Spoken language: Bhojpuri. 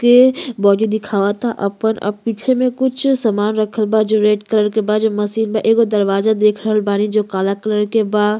के बॉडी दिखावता आपन आ पीछे में कुछ सामान रखल बा जो रेड कलर के बा जो मशीन बा एगो दरवाजा देख रहल बानी जो काला कलर के बा।